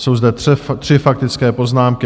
Jsou zde tři faktické poznámky.